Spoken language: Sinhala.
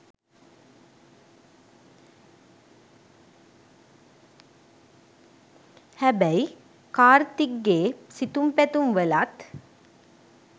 හැබැයි කාර්තික්ගේ සිතුම් පැතුම් වලත්